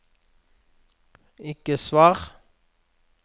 ikke svar